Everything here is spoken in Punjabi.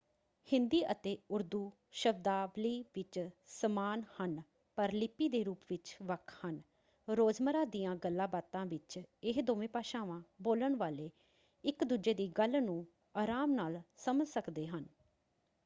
ਹਿੰਦੀ ਅਤੇ ਉਰਦੂ ਸ਼ਬਦਾਵਲੀ ਵਿੱਚ ਸਮਾਨ ਹਨ ਪਰ ਲਿਪੀ ਦੇ ਰੂਪ ਵਿੱਚ ਵੱਖ ਹਨ; ਰੋਜ਼ਮਰ੍ਹਾ ਦੀਆਂ ਗੱਲਾਂਬਾਤਾਂ ਵਿੱਚ ਇਹ ਦੋਵੇਂ ਭਾਸ਼ਾਵਾਂ ਬੋਲਣ ਵਾਲੇ ਇੱਕ ਦੂਜੇ ਦੀ ਗੱਲ ਨੂੰ ਆਰਾਮ ਨਾਲ ਸਮਝ ਸਕਦੇ ਹਨ।